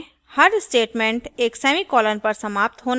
java में हर statement एक semicolon पर समाप्त होना चाहिए